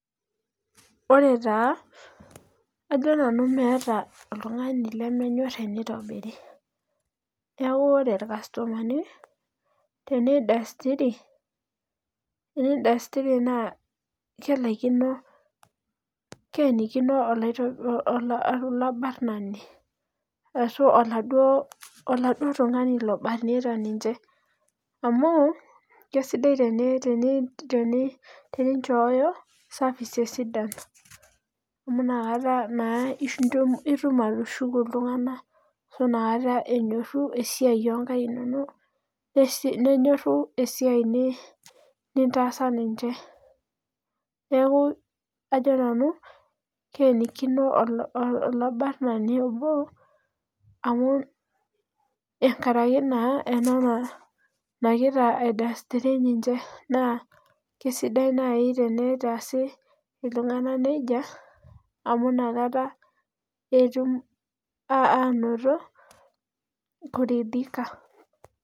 ore taa ajo nanu meeta oltungani lemenyor teneitobiri. neeku ore ilkastomani teneidastiri, teneidastiri naa keleikino keenikino olabarnani, ashu oladuo oladuo tungani obarnita ninche, amu kesidai teni teninchooyo services sidan, amu ina kata naa, itum atushuku iltungank, ashu inakata enyoru esiai, oo nnkaik inonok, nenyorru esiai nintaasa ninche. neeku ajo nanu keenikino olabarnani amu, amu, enkaraki naa ena naagira aideistiri incg. naa kesidai naaji tenaitaasi iltungan nejia, ameu ina kata, etum aanoto, kuridhika